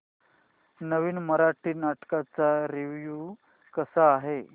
नवीन मराठी नाटक चा रिव्यू कसा आहे